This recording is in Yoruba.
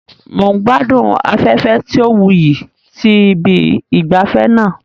Mo n gbadun afẹfẹ ti o wuyi ti ibi ìgbafé naa